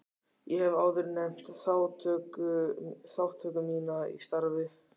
Ég hef áður nefnt þátttöku mína í starfi